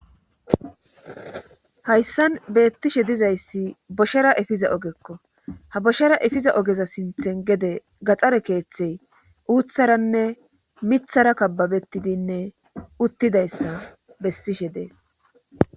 hayssan beettishe dizayssi boshera efiza ogekko ha boshera efiza ogeza sinthen gede gaxare keeththey uutharanne mithara kababettidinne uttidayssa bessishe dees